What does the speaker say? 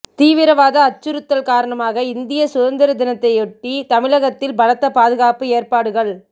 தீவிரவாத அச்சுறுத்தல் காரணமாக இந்திய சுதந்திர தினத்தையொட்டி தமிழகத்தில் பலத்த பாதுகாப்பு ஏற்பாடுகள்